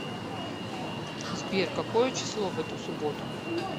сбер какое число в эту субботу